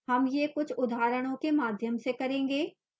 हम यह कुछ उदाहरणों के माध्यम से करेंगे